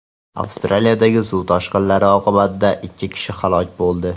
Avstraliyadagi suv toshqinlari oqibatida ikki kishi halok bo‘ldi.